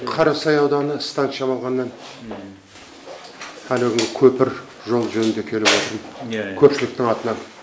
қарасай ауданы шамалғаннан әнеукүнгі көпір жол жөнінде келіп отырмын көпшіліктің атынан